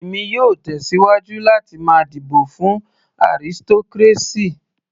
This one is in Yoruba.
Èmi yóò tẹ̀síwájú láti máa dìbò fún aristocracy.